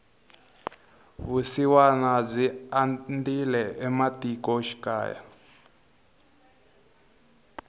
vusiwana byi andzile ematiko xikaya